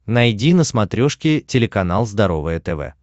найди на смотрешке телеканал здоровое тв